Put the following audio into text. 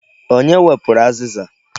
Onye wepụrụ azịza?